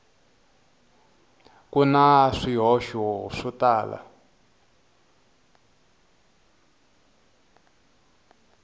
ku na swihoxo swo tala